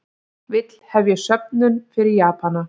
Vill hefja söfnun fyrir Japana